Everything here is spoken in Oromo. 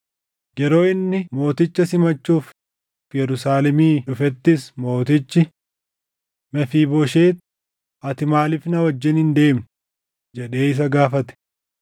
Yeroo inni mooticha simachuuf Yerusaalemii dhufettis mootichi, “Mefiibooshet, ati maaliif na wajjin hin deemne?” jedhee isa gaafate.